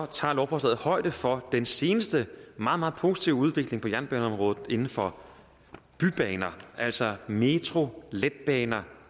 tager lovforslaget højde for den seneste meget meget positive udvikling på jernbaneområdet inden for bybaner altså metro letbaner